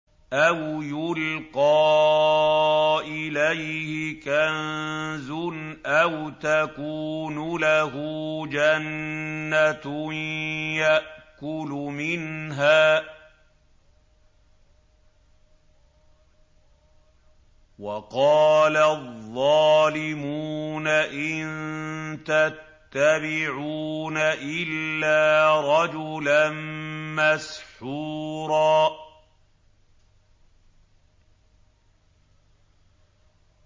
أَوْ يُلْقَىٰ إِلَيْهِ كَنزٌ أَوْ تَكُونُ لَهُ جَنَّةٌ يَأْكُلُ مِنْهَا ۚ وَقَالَ الظَّالِمُونَ إِن تَتَّبِعُونَ إِلَّا رَجُلًا مَّسْحُورًا